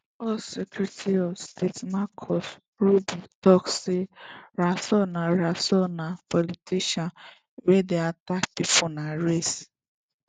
us secretary of state marco rubio tok say rasool say rasool na politician wey dey attack pipo dia race